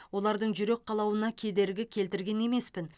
олардың жүрек қалауына кедергі келтірген емеспін